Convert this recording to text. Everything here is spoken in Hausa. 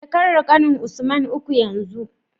Shekarar ƙanin usman uku yanzu